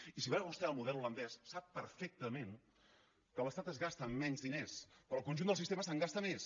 i si va vostè al model holandès sap perfectament que l’estat es gasta menys diners però el conjunt del sistema se’n gasta més